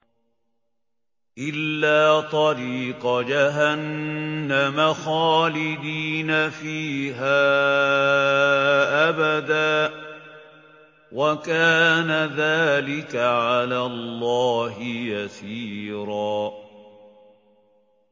إِلَّا طَرِيقَ جَهَنَّمَ خَالِدِينَ فِيهَا أَبَدًا ۚ وَكَانَ ذَٰلِكَ عَلَى اللَّهِ يَسِيرًا